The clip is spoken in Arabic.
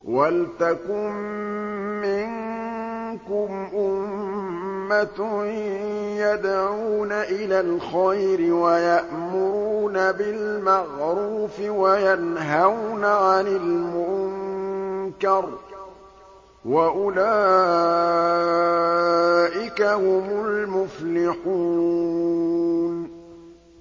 وَلْتَكُن مِّنكُمْ أُمَّةٌ يَدْعُونَ إِلَى الْخَيْرِ وَيَأْمُرُونَ بِالْمَعْرُوفِ وَيَنْهَوْنَ عَنِ الْمُنكَرِ ۚ وَأُولَٰئِكَ هُمُ الْمُفْلِحُونَ